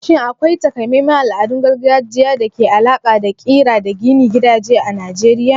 Shin akwai taƙamaiman al'adun gargajiya da ke da alaƙa da ƙira da gina gidaje a Najeriya?